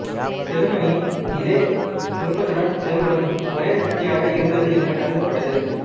செருமனி இதே விருப்பத்துடன் செயல்படும் ஒரே சக்தியாக இருந்தது என்றும் கருதப்பட்டது